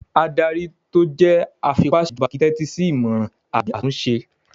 Adarí tó jẹ́ afipásèjọba kìí n tẹ́tí sí ìmọràn àbí àtúnṣe